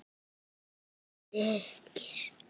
Elsku Birkir.